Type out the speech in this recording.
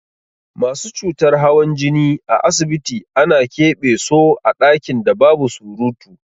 Masu cutar hawan jini a asibiti ana ƙebe so a ɗakin da babu surutu.